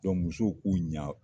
musow k'u ɲa